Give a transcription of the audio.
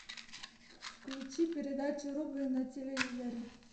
включи передачу рубль на телевизоре